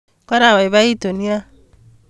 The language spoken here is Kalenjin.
Karababaitu nia